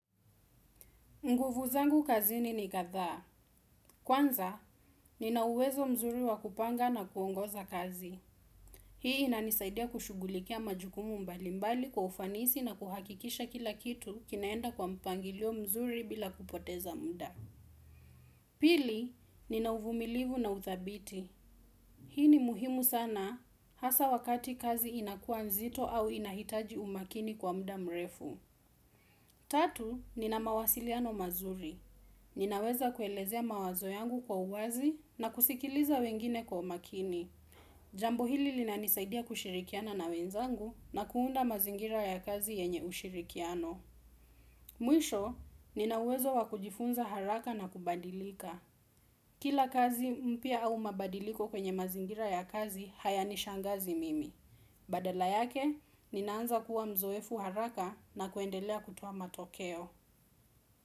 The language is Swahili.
Nguvu zangu kazini ni kadhaa. Kwanza, nina uwezo mzuri wa kupanga na kuongoza kazi. Hii inanisaidia kushughulikia majukumu mbali mbali kwa ufanisi na kuhakikisha kila kitu kinaenda kwa mpangilio mzuri bila kupoteza mda. Pili, ninauvumilivu na uthabiti. Hii ni muhimu sana hasa wakati kazi inakua mzito au inahitaji umakini kwa mda mrefu. Tatu, nina mawasiliano mazuri. Ninaweza kuelezea mawazo yangu kwa uwazi na kusikiliza wengine kwa umakini. Jambo hili linanisaidia kushirikiana na wenzangu na kuunda mazingira ya kazi yenye ushirikiano. Mwisho, nina uwezo wakujifunza haraka na kubadilika. Kila kazi mpya au mabadiliko kwenye mazingira ya kazi haya nishangazi mimi. Badala yake, ninaanza kuwa mzoefu haraka na kuendelea kutoa matokeo.